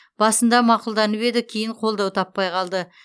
басында мақұлданып еді кейін қолдау таппай қалды